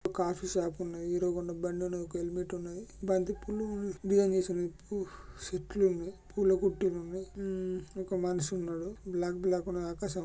ఒక coffee shop ఉన్నది. Hero Honda బండి ఉన్నది. ఒక హెల్మెట్ ఉన్నది. బంతిపూలు డిజైన్ వేసి ఉన్నాయి. పూ చెట్లు పూలకుట్టిలు ఉన్నాయి. ఉమ్ ఒక మనిషి ఉన్నాడు. --